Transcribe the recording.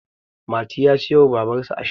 mati ya siyo wa babarsa ashana